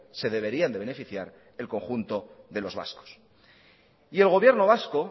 se deberían de beneficiar el conjunto de los vascos y el gobierno vasco